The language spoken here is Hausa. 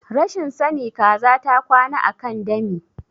Rashin sani kaza ta kwana akan dami